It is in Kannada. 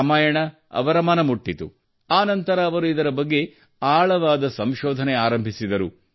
ರಾಮಾಯಣ ಅವರ ಮನ ಮುಟ್ಟಿತು ಆ ನಂತರ ಅವರು ಇದರ ಬಗ್ಗೆ ಆಳವಾದ ಸಂಶೋಧನೆ ಆರಂಭಿಸಿದರು